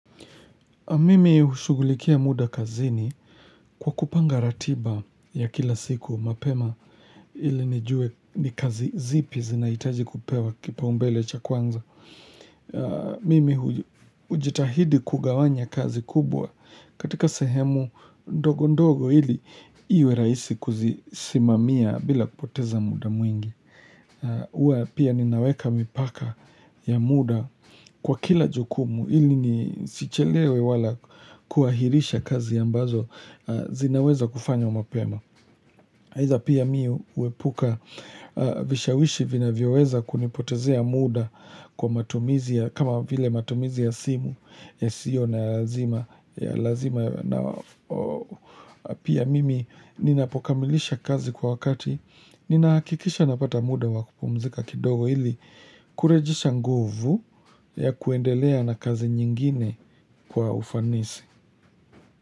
Mimi hushugulikia muda kazini kwa kupanga ratiba ya kila siku mapema ili nijue ni kazi zipi zinaitaji kupewa kipaumbele cha kwanza. Mimi ujitahidi kugawanya kazi kubwa katika sehemu ndogo ndogo ili iwe raisi kuzisimamia bila kupoteza muda mwingi. Uwa pia ninaweka mipaka ya muda kwa kila jukumu ili ni sichelewe wala kuahirisha kazi ambazo zinaweza kufanywa mapema Haidha pia mi uwepuka vishawishi vinavyo weza kunipotezea muda kwa matumizi ya kama vile matumizi ya simu yasiyo na lazima ya lazima na pia mimi ninapokamilisha kazi kwa wakati ninaakikisha napata muda wa kupumzika kidogo ili kurejisha nguvu ya kuendelea na kazi nyingine kwa ufanisi.